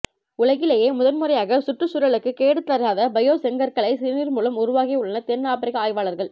உலகிலேயே முதன்முறையாக சுற்றுச்சூழலுக்குக் கேடு தராத பயோ செங்கற்களை சிறுநீர் மூலம் உருவாக்கி உள்ளனர் தென் ஆப்ரிக்க ஆய்வாளர்கள்